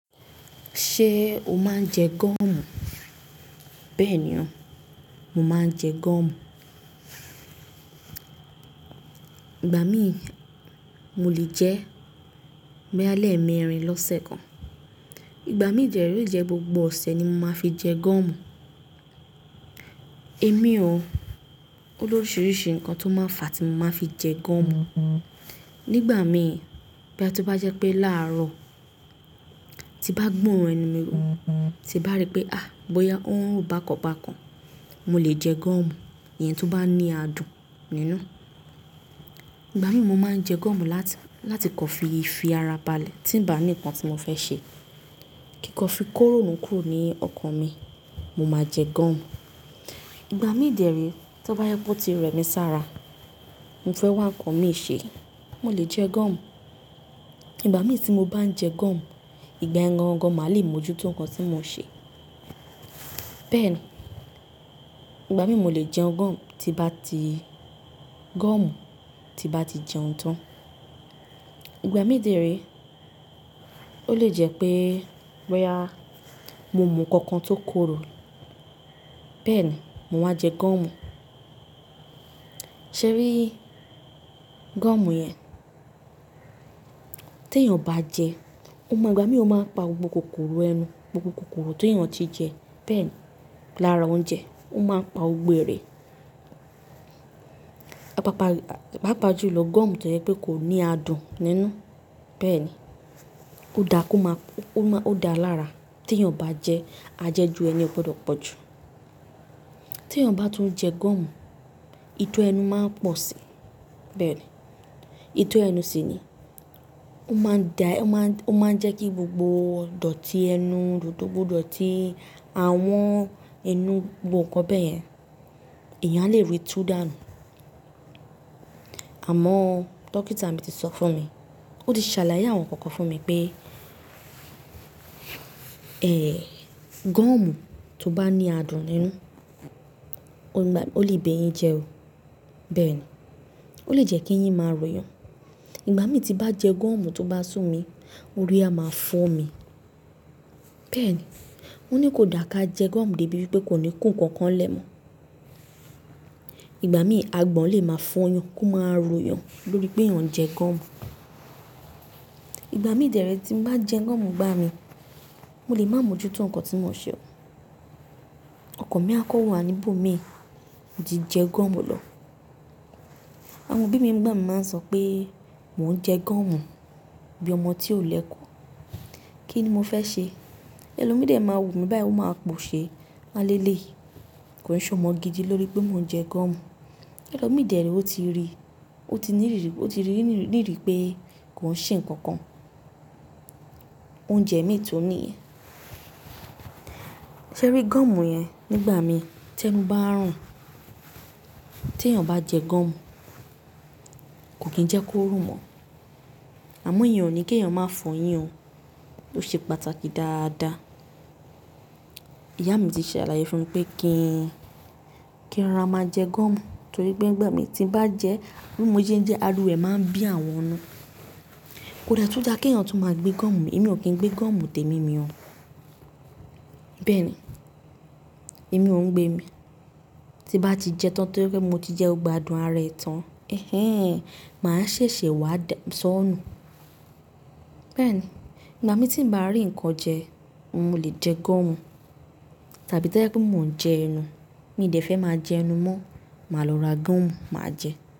Ṣé o máa ń jẹ gọmù? Bẹ́ẹ̀ ni o, mo máa ń jẹ gọmu. Ìgbà míì, mo lè jẹ́ boya ni ẹmerin lọ́sẹ̀ kan. Ìgbà mi dẹ̀ re ole jẹ́ gbogbo ọ̀sẹ̀ ni mo máa fi jẹ gọmu. Èmi o, ó lóríṣiríṣi nǹkan tó máa ń fà tí mo máa fi jẹ gọmu. Nígbà mi, boya to bá jẹ́ pé láàrọ̀ tí bá gbo orun ẹnu mi, tí bá rí pé, "àh! Bóyá ó ń rùn bákan bákan," mo lè jẹ gọmu eyẹn tó bá ní adùn nínú. Ìgbà mi mo máa ń jẹ gọmu láti kọ fi fi ara balẹ̀ tí ń ba ni nǹkan tí mo fẹ́ ṣe. Kíkọ́ fi ko ironu kúrò ní ọkàn mi, mo máa jẹ gọmu. Ìgbà mi dẹ̀ rí tí ó bá jẹ pe ó ti rẹmi sára, mo fẹ́ wá ńkàn mi ṣe, mo lè jẹ gọmu. Ìgbà mi tí mo bá ń jẹ gọmu, ìgba yen gangan máa le mójú to nǹkan tí mo ṣe. Bẹ́ẹ̀ ni, ìgbà míì mo lè jẹ gọmu tí bá ti gọmu tí bá ti jẹun tán. Ìgbà mi dẹ̀ rí, ó lè jẹ́ pé bóyá mo mú nǹkan kan tó korò, bẹ́ẹ̀ ni, mo máa jẹ gọmu. Ṣé rí gọmu yẹn tí èèyàn bá jẹ, o máa gbà mí o máa pa gbogbo kòkòrò ẹnu, gbogbo kòkòrò tí èèyàn ti jẹ. Bẹ́ẹ̀ ni, lára oúnjẹ ó máa ń pa ọgbẹ́ rẹ̀. Papa ju lọ, gọmu tó jẹ́ pé kò ní adùn nínú. Bẹ́ẹ̀ ni, ó da kó máa, ó máa, ó da lára tí èèyàn bá jẹ́ ajẹ́jù ẹni o gbọdọ̀ pọ̀jù. Tí èèyàn bá tún jẹ gọmu, ìtọ́ ẹnu máa ń pọ̀ si. Bẹ́ẹ̀ ni, ìtọ́ ẹnu sì ni, ó máa ń dá, ó máa ń jẹ́ kí gbogbo dọ̀tí ẹnu, gbogbo dọ̀tí ahun ẹnu gbogbo nǹkan bẹ́ẹ̀ yẹn, èèyàn a lè ríi tú dà nù. Àmọ́ dókítà mi ti sọ fún mi, ó ti ṣàlàyé àwọn nǹkan kan fún mi pé, ẹ̀, gọmu tó bá ní adùn nínú, ó lè bẹ́ yín jẹ o. Bẹ́ẹ̀ ni, ó lè jẹ́ kí yín máa ròyàn. Ìgbà mi tí bá jẹ gọmu tó bá sú mi, orí á máa fọ́ mi. Bẹ́ẹ̀ ni, ó ní kò dà ká jẹ gọmu dé ibi pé kò ní ko nǹkan kan lẹmọ́. Ìgbà mi, agbọn lè máa fọ́ yàn, kó máa ro eyàn lórí pé èèyàn jẹ gọmu. Ìgbà mi dẹ̀ rí tí n bá jẹ gọmu igbà mí, mo lè má mójú tó nǹkan tí mo ṣe o. Ọkàn mi á kan wà níbò mii mo ti jẹ gọmu lọ. Àwọn òbí mi nígbà mi máa ń sọ pé mò ń jẹ gọmu bí ọmọ tí ò lẹ́ko, kí ni mo fẹ́ ṣe? Ẹ̀lọmìí dẹ̀ máa wù mí báyi, ó máa pòṣe, wáani eléyii. Kò è ṣe ọmọ gidi lórí pé mò ń jẹ gọmu. Ẹ̀lọmìí dẹ̀ re ó ti rí, ó ti ní rírì, ó ti rí rírì pé kò ń ṣe nǹkan kan. Oúnjẹ mi tun niyen. Ṣé rí gọmu yẹn nígbà mi tí ẹnu bá ń rùn, tí èèyàn bá jẹ gọmu, kò kì í jẹ́ kó rùn mọ́. Àmọ́ ìyẹn ò ní kí èèyàn máa fọ̀ yín o. Ó ṣe pàtàkì dáadáa. Ìyá mi ti ṣàlàyé fún mi pé kí i, kí rora máa jẹ gọmu torí pé nígbà mi tí ń bá jẹ, bí mo ṣe ń jẹ ariwo re máa ń bí àwọn inu. Kò de tú dà kí èèyàn tún máa gbé gọmu mi. Èmi ò kín gbé gọmu tẹ̀mí mi o. Bẹ́ẹ̀ ni, èmi ò ń gbé mi. Tí bá ti jẹ tán torí pé mo ti jẹ gbogbo adùn ara ẹ̀ tán, ẹhẹ́n, màá ṣèṣè wá sọ́ nù. Bẹ́ẹ̀ ni, ìgbà mi tí ń bá rí nǹkan jẹ, mo lè jẹ gọmu. Tàbí tí ó jẹ́ pé mò ń jẹ ẹnu, mi dẹ̀ fẹ́ máa jẹ ẹnu mọ́, màá lọ ra gọmu, màá jẹ.